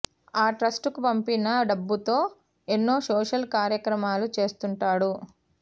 ఆ ట్రస్ట్ కు పంపిన డబ్బుతో ఎన్నో సోషల్ కార్యక్రమాలు చేస్తుంటాడు